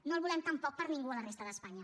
no el volem tampoc per a ningú a la resta d’espanya